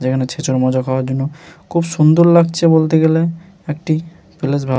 যেখানে ছেচর মজা খাওয়ার জন্য খুব সুন্দর লাগছে বলতে গেলে একটি প্লেস ভাব--